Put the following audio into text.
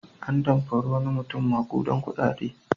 An damfari wani mutum maƙudan kuɗaɗe.